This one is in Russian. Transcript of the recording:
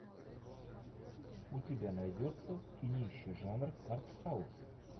у тебя найдется кинище жанр артхаус